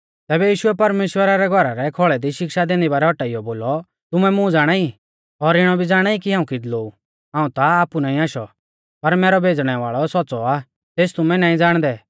तैबै यीशुऐ परमेश्‍वरा रै घौरा रै खौल़ै दी शिक्षा दैंदी बारै औटाइयौ बोलौ तुमै मुं ज़ाणाई और इणौ भी ज़ाणाई कि हाऊं किदलौ ऊ हाऊं ता आपु नाईं आशौ पर मैरौ भेज़णै वाल़ौ सौच़्च़ौ आ तेस तुमै नाईं ज़ाणदै